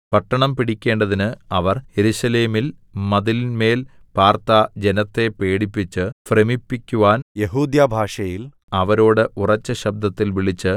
പട്ടണം പിടിക്കേണ്ടതിന് അവർ യെരൂശലേമിൽ മതിലിന്മേൽ പാർത്ത ജനത്തെ പേടിപ്പിച്ച് ഭ്രമിപ്പിക്കുവാൻ യെഹൂദ്യഭാഷയിൽ അവരോട് ഉറച്ച ശബ്ബത്തിൽ വിളിച്ച്